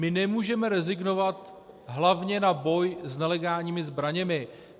My nemůžeme rezignovat hlavně na boj s nelegálními zbraněmi.